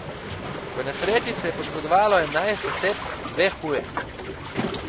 V nesreči se je poškodovalo enajst oseb, dve huje.